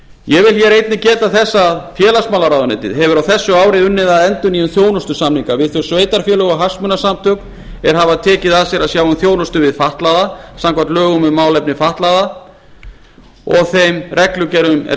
ég vil hér einnig geta þess að félagsmálaráðuneytið hefur á þessu ári unnið að endurnýjun þjónustusamninga við þau sveitarfélög og hagsmunasamtök er hafa tekið að sér að sjá um þjónustu við fatlaða samkvæmt lögum um málefni fatlaðra og þeim reglugerðum er